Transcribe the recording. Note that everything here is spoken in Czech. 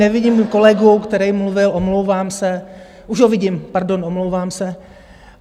Nevidím kolegu, který mluvil, omlouvám se, už ho vidím, pardon, omlouvám se.